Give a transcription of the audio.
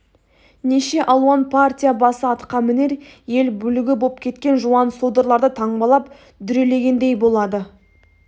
неше алуан партия басы атқамінер ел бүлігі боп кеткен жуан-содырларды таңбалап дүрелегендей болады